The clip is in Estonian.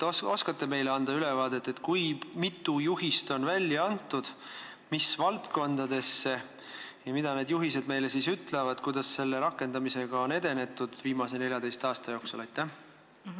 Kas te oskate anda ülevaadet, kui mitu juhist ja mis valdkondades on välja antud ning mida need juhised meile ütlevad, kuidas selle rakendamisega on viimase 14 aasta jooksul edenetud?